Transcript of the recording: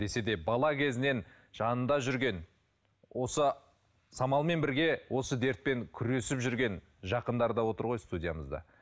десе де бала кезінен жанында жүрген осы самалмен бірге осы дертпен күресіп жүрген жақындары да отыр ғой студиямызда